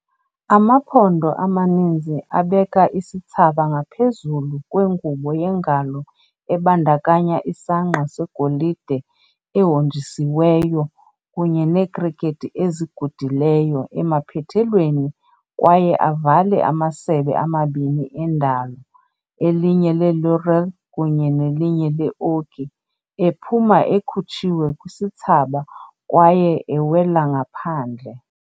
Amaphondo amaninzi abeka isithsaba ngaphezulu kwengubo yengalo ebandakanya isangqa segolide ehonjisiweyo kunye neekrekethi ezigudileyo emaphethelweni kwaye avale amasebe amabini endalo, elinye le-laurel kunye nelinye le-oki, ephuma ekhutshiwe kwisithsaba kwaye ewela ngaphandle.